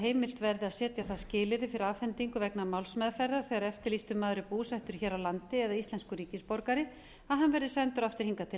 heimilt verði að setja það skilyrði fyrir afhendingu vegna málsmeðferðar þegar eftirlýstur maður er búsettur hér á landi eða íslenskur ríkisborgari að hann verði sendur aftur hingað til